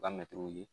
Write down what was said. U ka mɛtiriw ye